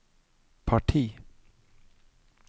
parti